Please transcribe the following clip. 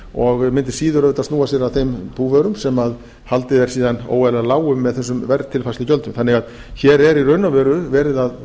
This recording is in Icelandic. og mundi síður auðvitað snúa sér að þeim búvörum sem haldið er síðan óeðlilega lágum með þessum verðtilfærslugjöldum hér er því í raun og veru verið að